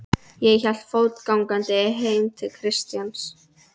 og hélt fótgangandi heim til Kjartans.